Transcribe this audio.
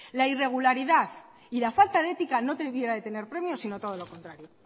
la irregularidad y la falta de ética no debieran tener premio sino todo lo contrario